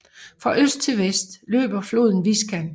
Fra øst til vest løber floden Viskan